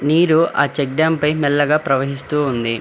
నీరు ఆ check dam పై మెల్లగా ప్రవహిస్తూ ఉంది.